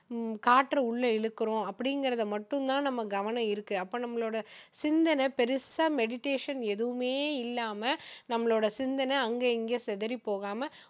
உம் காற்ற உள்ள இழுக்குறோம் அப்படிங்குறதை மட்டும் தான் நம்ம கவனம் இருக்கு அப்போ நம்மளோட சிந்தனை பெருசா meditation எதுவுமே இல்லாம நம்மளோட சிந்தனை அங்க இங்க சிதறி போகாம